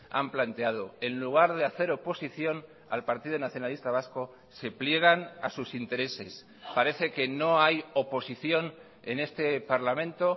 han planteado en lugar de hacer oposición al partido nacionalista vasco se pliegan a sus intereses parece que no hay oposición en este parlamento